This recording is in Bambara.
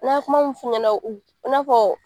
N'an ye kuma min f'u ɲɛna i n'a fɔ